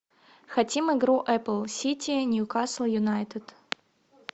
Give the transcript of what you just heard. хотим игру апл сити ньюкасл юнайтед